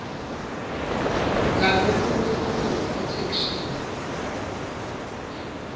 lalolunye lulwimi etheksthini